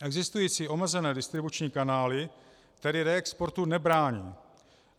Existující omezené distribuční kanály tedy reexportu nebrání.